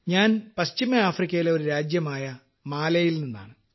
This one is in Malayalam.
ഞാൻ പശ്ചിമആഫ്രിക്കയിലെ ഒരു രാജ്യമായ മാലിയിൽ നിന്നാണ്